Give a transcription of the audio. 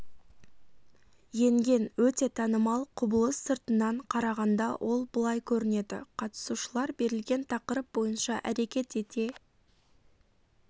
енген өте танымал құбылыс сыртынан қарағанда ол былай көрінеді қатысушылар берілген тақырып бойынша әрекет ете